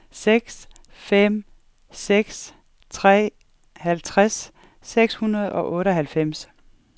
seks fem seks tre halvtreds seks hundrede og otteoghalvfems